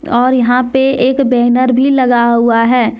और यहां पे एक बैनर भी लगा हुआ है।